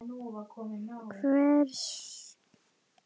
Hvers saknarðu mest frá Íslandi?